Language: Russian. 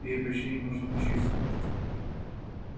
ей почти не нужно учиться